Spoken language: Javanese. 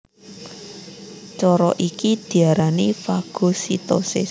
Cara iki diarani fagositosis